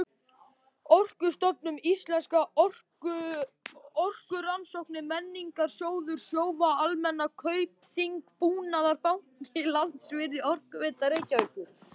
Orkustofnun, Íslenskar orkurannsóknir, Menningarsjóður, Sjóvá-Almennar, Kaupþing-Búnaðarbanki, Landsvirkjun, Orkuveita Reykjavíkur